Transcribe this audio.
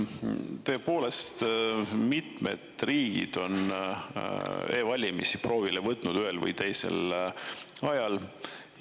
Tõepoolest, mitmed riigid on e-valimisi ühel või teisel ajal proovinud.